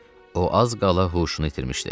O az qala huşunu itirmişdi.